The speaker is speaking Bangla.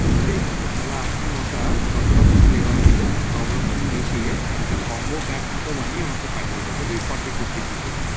ঠিক আছে তালে আপনি ওটা যতরকম fever এর আছে সবরকম মিশিয়ে একটা combo pack মতো বানিয়ে পাঠিয়ে দিবেন ওই forty fifty prices এর মতো